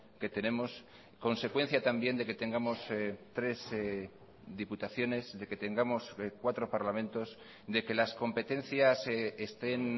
que tenemos consecuencia también de que tengamos tres diputaciones de que tengamos cuatro parlamentos de que las competencias estén